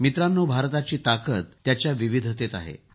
मित्रांनो भारताची ताकद त्याच्या विविधतेत आहे